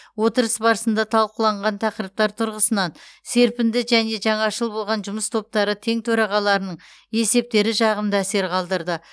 отырыс барысында талқыланған тақырыптар тұрғысынан серпінді және жаңашыл болған жұмыс топтары тең төрағаларының есептері жағымды әсер қалдырды